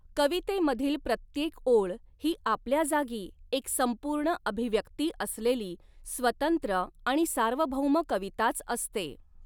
कवितेमधील प्रत्येक ओळ ही आपल्या जागी एक संपूर्ण अभिव्यक्ती असलेली स्वतंत्र आणि सार्वभौम कविताच असते.